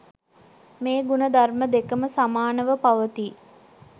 මේ ගුණ ධර්ම දෙකම සමානව පවතී.